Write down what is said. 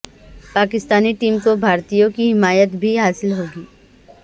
Pakistani team کو بھارتیوں کی حمایت بھی حاصل ہو گئی